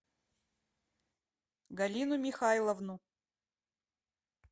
галину михайловну